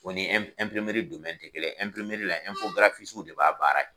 O ni te kelen ye . de b'a baara Kɛ.